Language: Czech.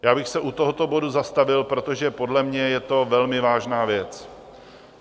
Já bych se u tohoto bodu zastavil, protože podle mě je to velmi vážná věc.